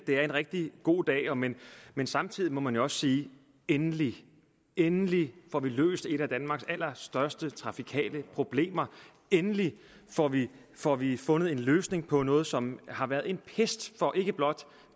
det er en rigtig god dag men men samtidig må man også sige endelig endelig får vi løst et af danmarks allerstørste trafikale problemer endelig får vi får vi fundet en løsning på noget som har været en pest for ikke blot